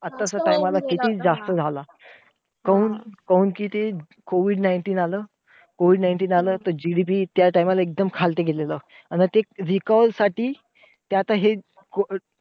आता च्या time ला किती जास्त झाला. काऊन काऊन कि ते COVID nineteen आलं, COVID nineteen आलं त GDP त्या time ला ते एकदम खालती गेलं. आणि ते recover साठी ते आता हे